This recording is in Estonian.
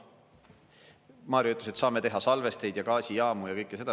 Mario ütles, et saame teha salvesteid ja gaasijaamu ja kõike seda.